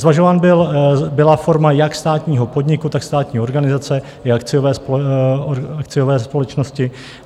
Zvažována byla forma jak státního podniku, tak státní organizace i akciové společnosti.